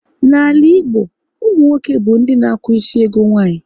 N'ala Igbo, ụmụ nwoke bụ ndị na akwụ isi ego nwanyị